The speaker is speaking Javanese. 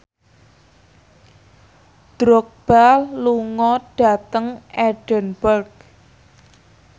Drogba lunga dhateng Edinburgh